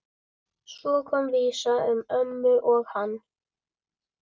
Svo kom vísa um ömmu og hann